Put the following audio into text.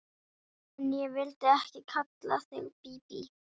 En ég vildi ekki kalla þig Bíbí.